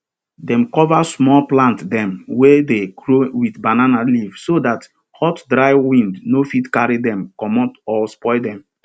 dem cover small plant dem wey dey grow with banana leaf so dat hot dry wind no fit carry dem commot or spoil dem